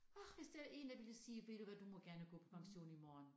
Orh hvis der en der ville sige ved du hvad du må gerne gå på pension i morgen